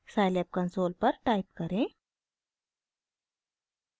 scilab console पर type करें: